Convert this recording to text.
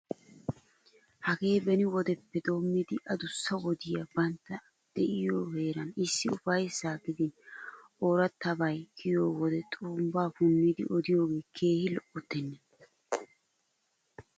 Hagee beni wodeppe doommidi adussa wodiya bantta de'iyo heeran issi ufayssaa gidin oorattabay kiyiyo wode xurumbbaa punnidi odiyogee keehi lo'ottennee!